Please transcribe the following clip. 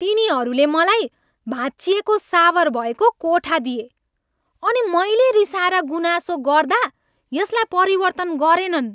तिनीहरूले मलाई भाँचिएको सावर भएको कोठा दिए अनि मैले रिसाएर गुनासो गर्दा यसलाई परिवर्तन गरेनन्।